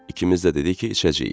İkimiz də dedik ki, içəcəyik.